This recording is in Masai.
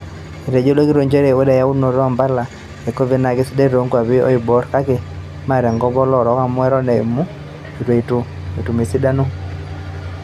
Etejo ilo kitok nchere ore eyaunoto o mpala e covid naa kesidai too nkwapi olooiboor kake mee te nkop oloorok amu eton eitu etum osindano.